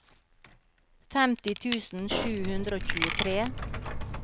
femti tusen sju hundre og tjuetre